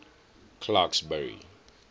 clarksburry